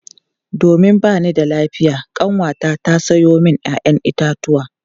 Domin ba ni da lafiya kanwata ta samo min 'ya'yan itatuwa.